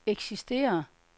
eksisterer